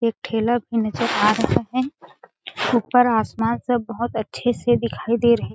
एक ठेला भी नज़र आ रहा हैं ऊपर आसमान सब बहोत अच्छे से दिखाई ड़े रहे हैं।